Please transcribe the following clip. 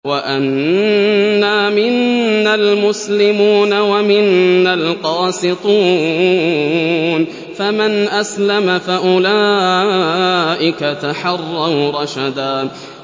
وَأَنَّا مِنَّا الْمُسْلِمُونَ وَمِنَّا الْقَاسِطُونَ ۖ فَمَنْ أَسْلَمَ فَأُولَٰئِكَ تَحَرَّوْا رَشَدًا